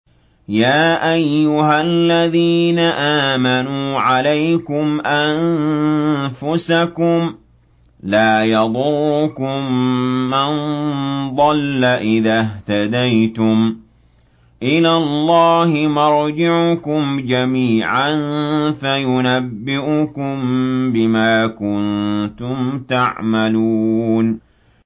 يَا أَيُّهَا الَّذِينَ آمَنُوا عَلَيْكُمْ أَنفُسَكُمْ ۖ لَا يَضُرُّكُم مَّن ضَلَّ إِذَا اهْتَدَيْتُمْ ۚ إِلَى اللَّهِ مَرْجِعُكُمْ جَمِيعًا فَيُنَبِّئُكُم بِمَا كُنتُمْ تَعْمَلُونَ